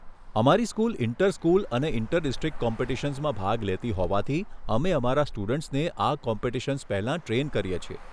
અમારી school inter school અને inter district કોમ્પિટિશન્સમાં ભાગ લેતી હોવાથી અમે અમારા સ્ટુડન્ટ્સને આ કોમ્પિટિશન્સ પહેલા ટ્રેઈન કરીએ છીએ.